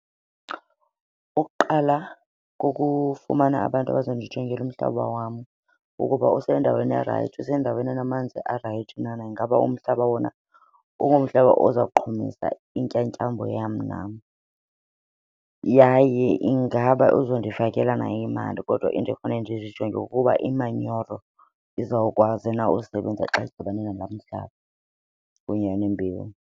Ukuqala kukufumana abantu abazondijongela umhlaba wam ukuba usendaweni erayithi, usendaweni enamanzi arayithi na. Ingaba umhlaba wona ungumhlaba oza kuqhumisa intyatyambo yam nam yaye ingaba uzondifakela na imali. Kodwa endifanele ndizijonge kukuba imanyoro izawukwazi na usebenza xa zidibane nalaa mhlaba kunye nembewu.